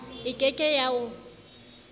e ke ke ya o